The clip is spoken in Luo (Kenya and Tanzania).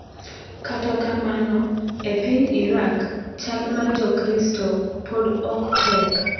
Kata kamano, e piny Iraq, chal mar Jokristo pod ok tek.